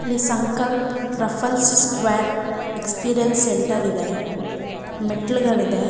ಇಲ್ಲಿ Sankalp Raffle square experience centre ಇದೆ ಮೆಟ್ಟಿಲುಗಳಿಗೆ.